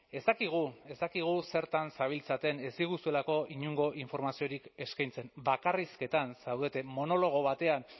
ez dakigu ez dakigu zertan zabiltzaten ez diguzuelako inongo informaziorik eskaintzen bakarrizketan zaudeten monologo batean